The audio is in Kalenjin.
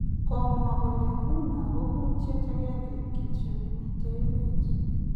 Kimwa kole nguno ko kutiet agenge kityo nemiten emet